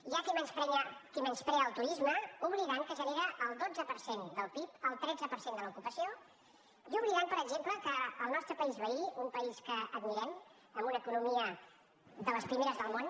hi ha qui menysprea el turisme i s’oblida que genera el dotze per cent del pib el tretze per cent de l’ocupació i s’oblida per exemple que el nostre país veí un país que admirem amb una economia de les primeres del món